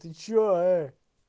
ты что ээ